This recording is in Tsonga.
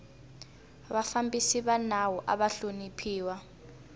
vafambisi va nawu ava hloniphiwa